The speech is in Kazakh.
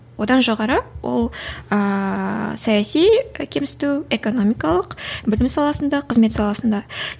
одан жоғары ол ыыы саяси кемсіту экономикалық білім саласында қызмет саласында